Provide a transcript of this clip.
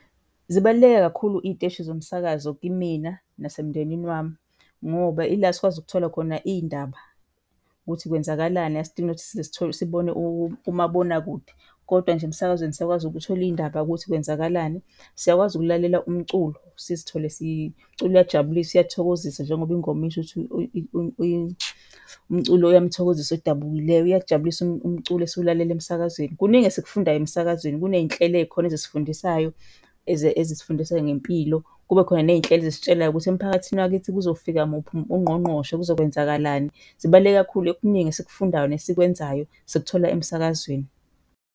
Zibaluleke kakhulu iy'teshi zomsakazo kimina nasemndenini wami ngoba ila sikwazi ukuthola khona iy'ndaba, ukuthi kwenzakalani, asidingi nokuthi sibone umabonakude. Kodwa nje emsakazweni siyakwazi ukuthola iy'ndaba ukuthi kwenzakalani. Siyakwazi ukulalela umculo, sizithole , umculo uyajabulisa, uyathokozisa njengoba ingoma isho ukuthi umculo uyamthokozisa odabukileyo, uyakujabulisa umculo esiwulalela emsakazweni. Kuningi esikufundayo emsakazweni. Kuney'nhlelo ey'khona ezisifundisayo ezisifundisa ngempilo, kube khona ney'nhlelo ezisitshelayo ukuthi emphakathini wakithi kuzofika muphi ungqongqoshe, kuzokwenzakalani. Zibaluleke kakhulu. Okuningi esikufundayo nesikwenzayo sikuthola emsakazweni.